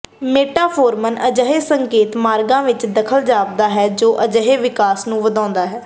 ਮੇਟਾਫੋਰਮਨ ਅਜਿਹੇ ਸੰਕੇਤ ਮਾਰਗਾਂ ਵਿਚ ਦਖਲ ਜਾਪਦਾ ਹੈ ਜੋ ਅਜਿਹੇ ਵਿਕਾਸ ਨੂੰ ਵਧਾਉਦਾ ਹੈ